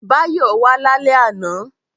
Báyọ̀ wà lálẹ́ àná